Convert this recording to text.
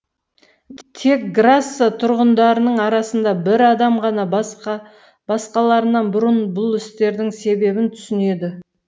тек грасса тұрғындарының арасында бір адам ғана басқаларынан бұрын бұл істердің себебін түсінеді